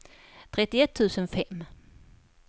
trettioett tusen fem